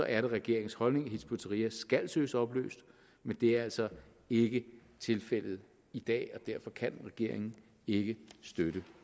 er det regeringens holdning at hizb ut tahrir skal søges opløst men det er altså ikke tilfældet i dag og derfor kan regeringen ikke støtte